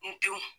N denw